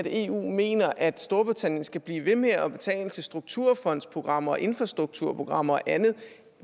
eu mener at storbritannien skal blive ved med at betale til strukturfondsprogrammer infrastrukturprogrammer og andet